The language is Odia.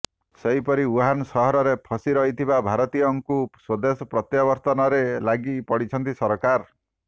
ସେହିପରି ଉହାନ ସହରରେ ଫସି ରହିଥିବା ଭାରତୀୟଙ୍କୁ ସ୍ୱଦେଶ ପ୍ରତ୍ୟାବର୍ତ୍ତନରେ ଲାଗି ପଡ଼ିଛନ୍ତି ସରକାର